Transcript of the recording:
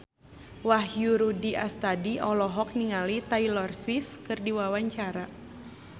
Wahyu Rudi Astadi olohok ningali Taylor Swift keur diwawancara